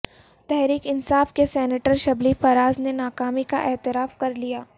تحریک انصاف کے سینیٹر شبلی فراز نے ناکامی کااعتراف کرلیا